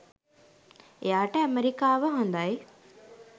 එයාට ඇමෙරිකාව හොඳයි